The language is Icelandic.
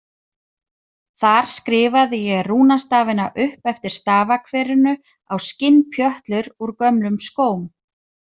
Þar skrifaði ég rúnastafina upp eftir stafakverinu á skinnpjötlur úr gömlum skóm.